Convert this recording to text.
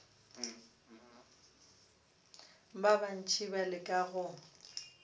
ba bantši ba leka go